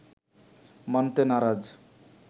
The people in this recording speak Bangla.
মানতে নারাজ